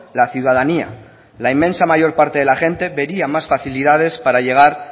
la ciudadanía la inmensa mayor parte de la gente vería más facilidades para llegar